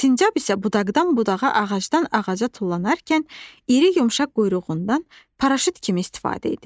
Sincab isə budaqdan budağa, ağacdan ağaca tullanarkən iri yumşaq quyruğundan paraşüt kimi istifadə edir.